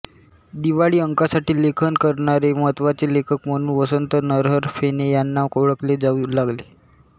दिवाळी अंकांसाठी लेखन करणारे महत्त्वाचे लेखक म्हणून वसंत नरहर फेणे यांना ओळखले जाऊ लागले